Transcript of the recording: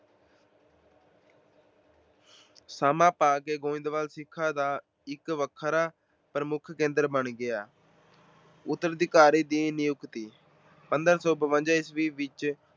ਸਮਾਂ ਪਾ ਕੇ ਗੋਇੰਦਵਾਲ ਸਿੱਖਾਂ ਦਾ ਇੱਕ ਵੱਖਰਾ ਪ੍ਰਮੁੱਖ ਕੇਂਦਰ ਬਣ ਗਿਆ। ਉਤਰਾਧਿਕਾਰੀ ਦੀ ਨਿਯੁਕਤੀ- ਪੰਦਰਾਂ ਸੌ ਬਵੰਜਾ ਈਸਵੀ ਵਿੱਚ